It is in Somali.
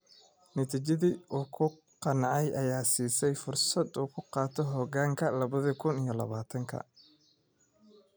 Natiijadii uu ku qancay ayaa siisay fursad uu ku qabto hoggaanka labada kun iyo labatanka.